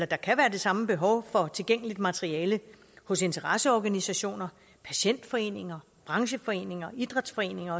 der kan være det samme behov for tilgængeligt materiale hos interesseorganisationer patientforeninger brancheforeninger idrætsforeninger